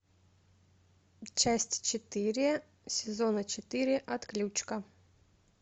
часть четыре сезона четыре отключка